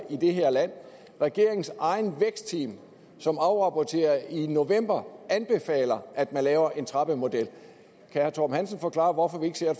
i det her land regeringens eget vækstteam som afrapporterede i november anbefaler at man laver en trappemodel kan herre torben hansen forklare hvorfor vi ikke ser